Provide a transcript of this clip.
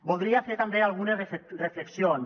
voldria fer també algunes reflexions